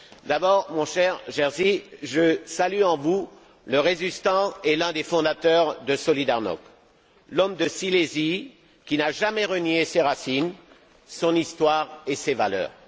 D'abord, mon cher Jerzy, je salue en vous le résistant et l'un des fondateurs de Solidarnosc, l'homme de Silésie qui n'a jamais renié ses racines, son histoire et ses valeurs.